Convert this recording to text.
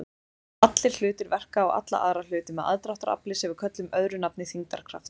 Allir hlutir verka á alla aðra hluti með aðdráttarkrafti sem við köllum öðru nafni þyngdarkraft.